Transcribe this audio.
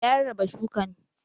Ya rarraba shukan